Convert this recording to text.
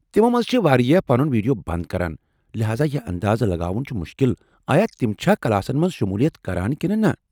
تمو منٛز چھ واریاہ پنُن ویڈیو بند کران، لہذا یہ اندازٕ لگاوُن چُھ مُشکل آیا تِم چھا کلاسن منٛز شمولیت كران کِنہٕ نہ۔